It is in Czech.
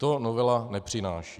To novela nepřináší.